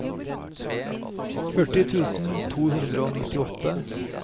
førti tusen to hundre og nittiåtte